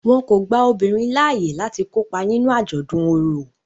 Wón kò gbà obinrin laaye lati kopa nínú ajọdun ọrọ.